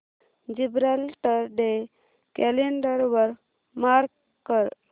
Gibraltar day calendar वर mark कर